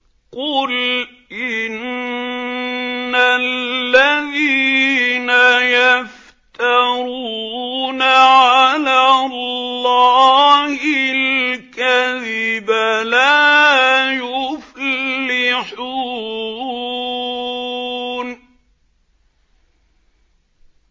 قُلْ إِنَّ الَّذِينَ يَفْتَرُونَ عَلَى اللَّهِ الْكَذِبَ لَا يُفْلِحُونَ